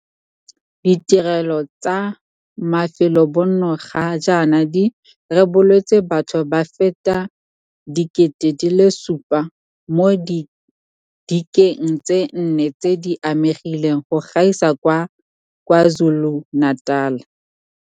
Ditirelo tsa mafelobonno ga jaana di reboletswe batho ba feta 7 000 mo didikeng tse nne tse di amegileng go gaisa kwa KwaZulu-Natal.